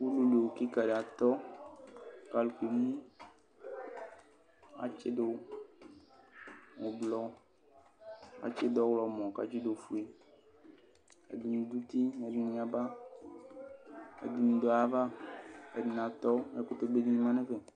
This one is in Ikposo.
Udunuowu kɩka dɩ atɔ kɩka dɩ atɔ kʋ alʋ kemu Atsɩdʋ ʋblɔ, atsɩdʋ ɔɣlɔmɔ kʋ atsɩdʋ ofue Ɛdɩnɩ dʋ uti, ɛdɩnɩ yaba kʋ ɛdɩnɩ dʋ ayava Ɛdɩnɩ atɔ Ɛkʋtɛbe dɩnɩ ma nʋ ɛfɛ